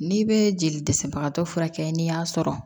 N'i bɛ jeli dɛsɛbagatɔ furakɛ n'i y'a sɔrɔ